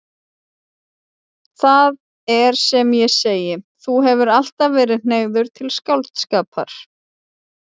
Það er sem ég segi: Þú hefur alltaf verið hneigður til skáldskapar.